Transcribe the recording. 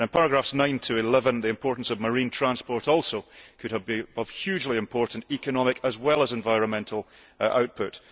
In paragraphs 9 to 11, the importance of marine transport could also have hugely important economic, as well as environmental, output.